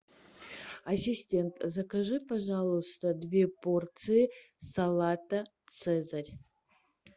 ассистент закажи пожалуйста две порции салата цезарь